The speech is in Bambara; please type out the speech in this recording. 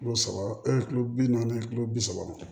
Kilo saba e ye kilo bi naani kilo bi saba